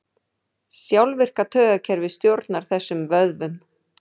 Sjálfvirka taugakerfið stjórnar þessum vöðvum.